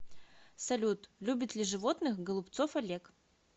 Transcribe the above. салют любит ли животных голубцов олег